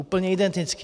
Úplně identický.